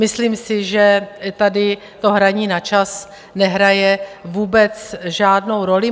Myslím si, že tady to hraní na čas nehraje vůbec žádnou roli.